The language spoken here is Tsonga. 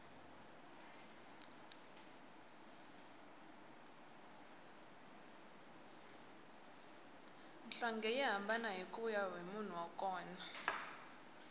nhlonge yi hambana kuya hi munhu wa kona